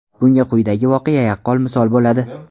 Bunga quyidagi voqea yaqqol misol bo‘ladi.